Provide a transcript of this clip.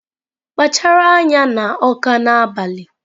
Kpachara anya na Awka n'abalị!